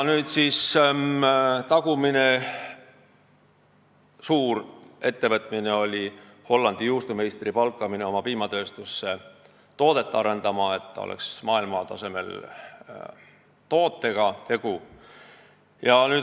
Tagumine suur ettevõtmine oli Hollandi juustumeistri palkamine oma piimatööstusse toodet arendama, et tegu oleks maailmatasemel tootega.